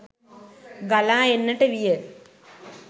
ගලා එන්නට විය.